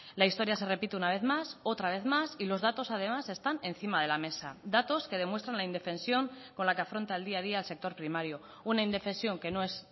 la historia se repite una vez más otra vez más y los datos además están encima de la mesa datos que demuestran la indefensión con la que afronta el día a día el sector primario una indefensión que no es